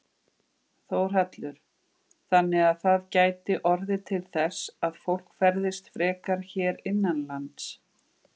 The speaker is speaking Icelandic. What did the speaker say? Þórhallur: Þannig að það gæti orðið til þess að fólk ferðist frekar hér innanlands?